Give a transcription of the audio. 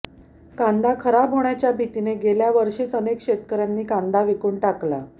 कांदा खराब होण्याच्या भीतीने गेल्या वर्षीच अनेक शेतकऱ्यांनी कांदा विकून टाकला